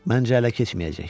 Məncə ələ keçməyəcək.